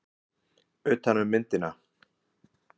Hvenær byrjaði þá landnám í Ameríku?